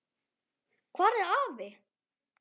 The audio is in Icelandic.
Hvar er afi?